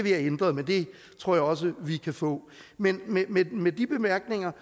have ændret men det tror jeg også vi kan få men med de bemærkninger